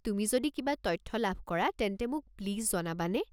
তুমি যদি কিবা তথ্য লাভ কৰা তেন্তে মোক প্লিজ জনাবানে?